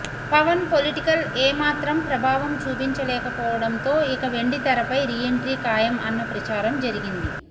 Pawan political ఏమాత్రం ప్రభావం చూపించలేకపోవటంతో ఇక వెండితెరపై రీ ఎంట్రీ ఖాయం అన్న ప్రచారం జరిగింది